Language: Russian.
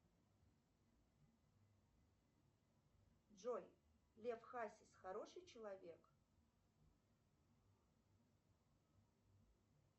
джой лев хасис хороший человек